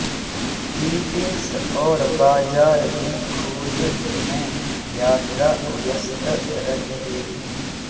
meetings और बाजार की खोज में यात्रा व्यस्त रखेगी